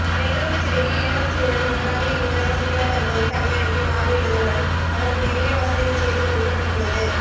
பெங்களூர் சிறையில் இளவரசியுடன் ஒன்றாக இருந்த சசிகலா தற்போது தனி அறைக்கு மாறியுள்ளதுடன் அவருக்கு நிறைய வசதிகள் செய்து கொடுக்கப்பட்டுள்ளது